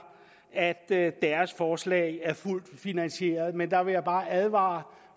at deres forslag er fuldt finansieret men der vil jeg bare advare